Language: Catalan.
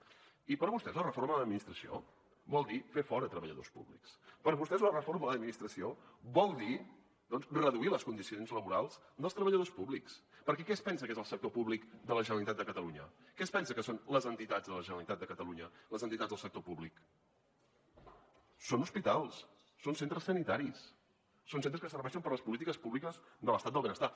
i per vostès la reforma de l’administració vol dir fer fora treballadors públics per vostès la reforma de l’administració vol dir reduir les condicions laborals dels treballadors públics perquè què es pensa que és el sector públic de la generalitat de catalunya què es pensa que són les entitats de la generalitat de catalunya les entitats del sector públic són hospitals són centres sanitaris són centres que serveixen per a les polítiques públiques de l’estat del benestar